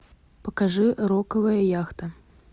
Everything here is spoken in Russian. покажи роковая яхта